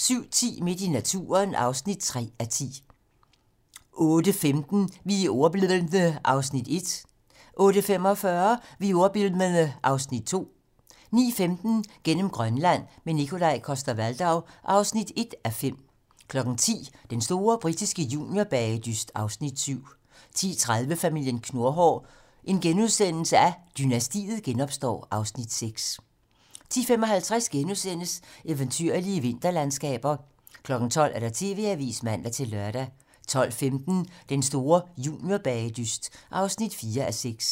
07:10: Midt i naturen (3:10) 08:15: Vi er ordbildne (Afs. 1) 08:45: Vi er ordbildne (Afs. 2) 09:15: Gennem Grønland – med Nikolaj Coster-Waldau (1:5) 10:00: Den store britiske juniorbagedyst (Afs. 7) 10:30: Familien Knurhår: Dynastiet genopstår (Afs. 6)* 10:55: Eventyrlige vinterlandskaber * 12:00: TV-Avisen (man-lør) 12:15: Den store juniorbagedyst (4:6)